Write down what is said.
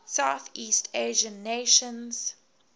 southeast asian nations